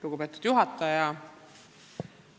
Lugupeetud juhataja!